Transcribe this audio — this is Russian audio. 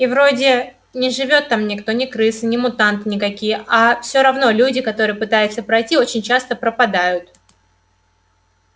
и вроде не живёт там никто ни крысы ни мутанты никакие а всё равно люди которые пытаются пройти очень часто пропадают